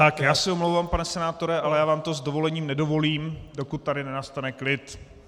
Tak já se omlouvám, pane senátore, ale já vám to s dovolením nedovolím, dokud tady nenastane klid.